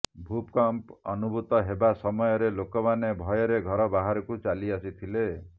ଭୂମିକମ୍ପ ଅନୁଭୂତ ହେବା ସମୟରେ ଲୋକମାନେ ଭୟରେ ଘର ବାହାରକୁ ଚାଲିଆସିଥିଲେ